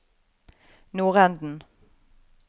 nordenden